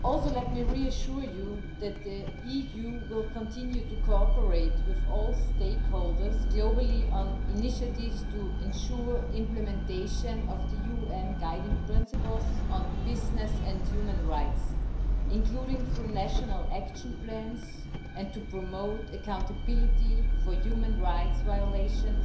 Let me also reassure you that the EU will continue to cooperate with all stakeholders globally on initiatives to ensure implementation of the UN guiding principles on business and human rights, including through national action plans, and to promote accountability for human rights violations